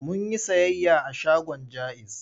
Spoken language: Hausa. Mun yi sayayya a shagon Jaiz.